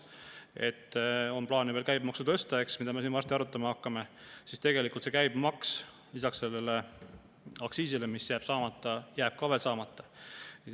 Praegu plaanis ju veel käibemaksu tõsta, eks – me hakkame seda siin varsti arutama –, aga tegelikult see käibemaks jääb lisaks sellele aktsiisile, mis jääb saamata, samuti saamata.